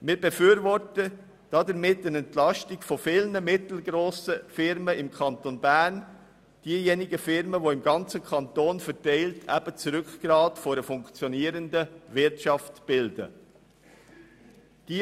Wir befürworten damit eine Entlastung von vielen mittelgrossen Firmen im Kanton Bern, also von denjenigen Firmen, welche das Rückgrat einer funktionierenden Wirtschaft bilden und im ganzen Kanton verteilt sind.